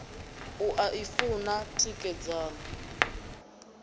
u a i funa tikedzani